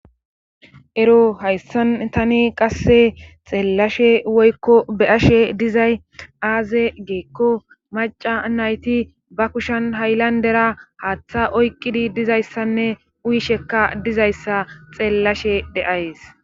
Ero hayssan tani qasse xeellashe woykko be ashe dizay aaze geekko maca nayti ba kushan haylandera haaththa oyqidi dizayssanne uyishekka dizayssa xeellashe de7ays.